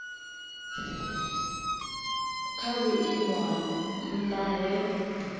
kwa vhuimo ha nha he